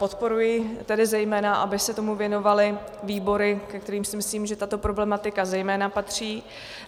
Podporuji tedy zejména, aby se tomu věnovaly výbory, do kterých si myslím, že tato problematika zejména patří.